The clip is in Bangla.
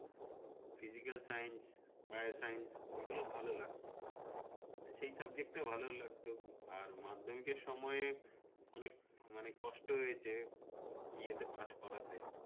physical-science, bio-science এগুলো ভালো লাগতো সেই subject টা ভালো লাগতো আর মাধ্যমিকের সয়য় অনেক মানে কষ্ট হয়েছে ইয়েতে পাশ করাতে